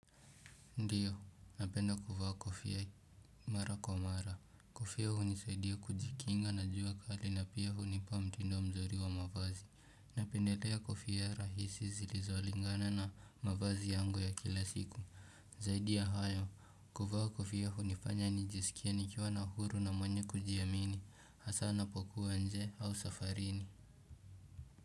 Ndio, napenda kuvaa kofia mara kwa mara. Kofia hunisaidia kujikinga na jua kali na pia hunipa mtindo mzuri wa mavazi. Napendelea kofia rahisi zilizolingana na mavazi yangu ya kila siku. Zaidi ya hayo, kuvaa kofia hunifanya nijisikie nikiwa na huru na mwenye kujiamini. Hasa napokuwa nje au safarini.